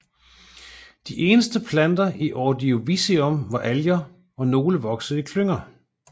De eneste planter i Ordovicium var alger og nogle voksede i klynger